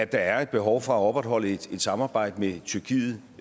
der er behov for at opretholde et samarbejde med tyrkiet